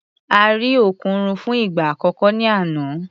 A rí òkùnrùn fún ìgbà àkọ́kọ́ ní àná.